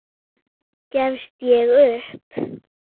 Gafst ég upp?